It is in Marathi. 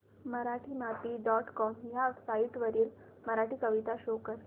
मराठीमाती डॉट कॉम ह्या साइट वरील मराठी कविता शो कर